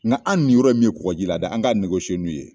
Nka an ninyɔrɔ ye min ye kɔgɔjila dɛ an ka n'u ye